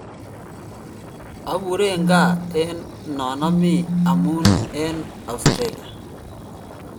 Aguren gaa en non ami amun en australia.